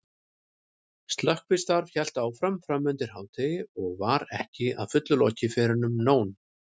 Slökkvistarf hélt áfram framundir hádegi og var ekki að fullu lokið fyrren um nón.